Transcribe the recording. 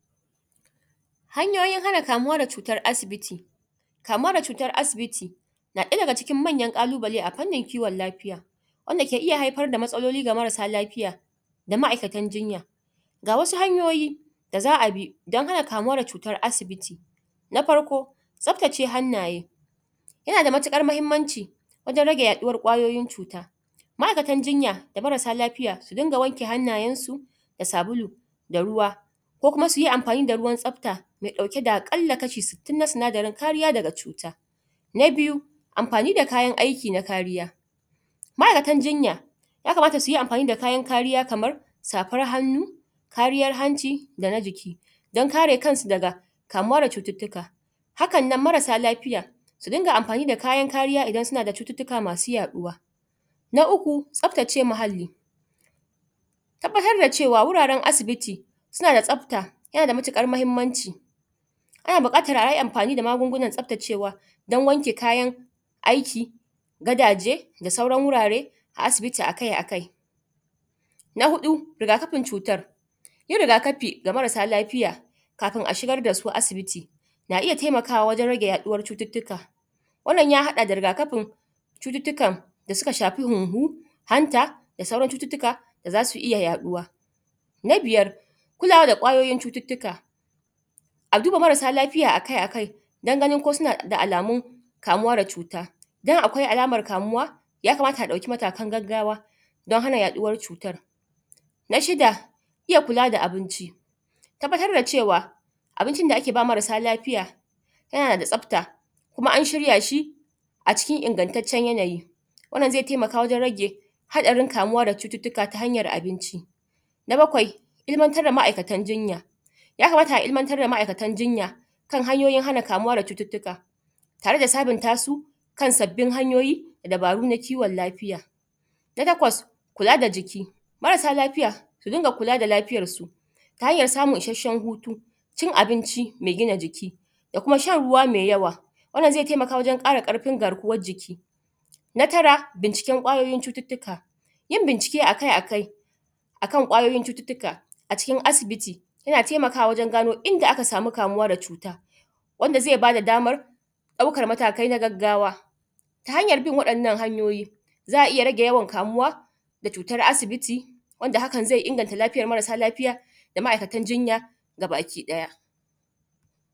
Hanyoyin hana kamuwa da cutan asibiti. Cutan asibiti na ɗaya daga cikin manyan kalubale a kiwon lafiya wanda ke iyya haifar da matsaloli ga marasa lafiya da ma'aikatan jinya ga wasu hanyoyi da za'abi dan hana kamuwa da cutan asibiti. Na farko tsaftace hannaye yana da matuƙar mahimmanci wajen rage yaɗuwar cuta. Ma'aikatan jinya da marasa lafiya su dunga wanke hannaye su da sabulu da ruwa ko kuma suyi amfani da ruwan tsafta mai ɗauke da akalla kashi sittin na sinadarin kariya daga cuta. Amfani da kayan aiki na kariya. Na biyu amfani da kayan aiki na kariya ma'aikatan jinya ya kamata suyi amfani da ya kamata suyi amfani da kayan kariya kamar safan hannu, kariya hanci dana jiki dan kare kansu daga kamuwa da cututtuka haka nan masara lafiya suyi amfani da kayan kariya na hanci dana jiki dan kare kansu daga kamuwa da cututtuka, haka nan marasa lafiya su dunga amfani da kayan kariya idan suna da cututtuka masu yaɗuwa. Na uku tsaftace muhalli tabbatar da cewa wurare asibiti su nada tsafta ya nada matukar mahimmanci, ana buƙatan ayi amfani da magunan tsaftacewa dan wanke kayan aiki gadaje da sauran wurare a asibiti akai akai. Na hudu rigakafin cutan yin riga kafi ga marasa lafiya kafin a shigar dasu asibiti na iyya taimakawa wajen rage yaduwar cututtuka wanna ya hada da Riga kafin cututtukan da suka shafi hunhu, hanta da sauran cututtuka da zasu iyya yaɗuwa. Na biyar kulawa da kwayoyin cututtuka a duba marasa lafiya akai akai dan ganin ko suna da alamun kamuwa da cutan idan akwai alaman kamuwa yakamata a ɗauki matakai dan hana kamuwa da cutan. Na shida iyya kula da abinci tabbatar da cewa abinci da a keba marasa lafiya yana da tsafta kuma an shirya shi a cikin ingattatcen yanayi wanda zai taimaka wajen rage haɗarin kamuwa da cututtuka saboda matsala abinci. Na bakwai ilmantar da ma'atan jinya yakamata a ilmantar da ma'aikatan jinya kan hanyoyi hana kamuwa da aikatan jinya tare da sabunta su kan sabbib hanyoyi da dabaru na kiwon lafiya. Na takwas kula da jiki marasa lafiya su dunga kula da lafiyan su ta hanyan samun isshashen hutu, da cin abinci mai gina jiki da kuma shan ruwa mai yawa, wannan zai taimaka wajen ƙara ƙarfin garkuwan jiki. Na tara bincike kwayoyin cututtuka yin bincike akai akai akan kwayoyin cututtuka a cikin asibiti yana taimakawa wajen gani inda aka samu kamuwa da cuta, wanda zai bada samar ɗaukan matakai na gaggawa ta hanyar bin wadannan hanyoyi za'a rage yawan kamuwa da cutar asibiti wanda hakan zai inganta lafiyar marasa lafiya da ma'aikatan jinya gabaki ɗaya.